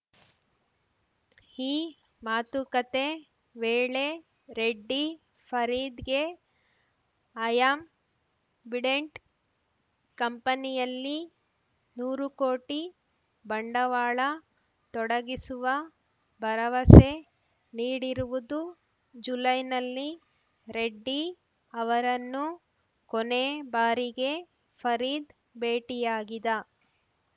ಈ ಮಾತುಕತೆ ವೇಳೆ ರೆಡ್ಡಿ ಫರೀದ್‌ಗೆ ಅಯಾಮ್ ಬಿಡೆಂಟ್‌ ಕಂಪನಿಯಲ್ಲಿ ನೂರು ಕೋಟಿ ಬಂಡವಾಳ ತೊಡಗಿಸುವ ಭರವಸೆ ನೀಡಿರುವುದು ಜುಲೈನಲ್ಲಿ ರೆಡ್ಡಿ ಅವರನ್ನು ಕೊನೆ ಬಾರಿಗೆ ಫರೀದ್‌ ಭೇಟಿಯಾಗಿದ